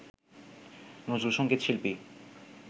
নজরুলসঙ্গীত শিল্পী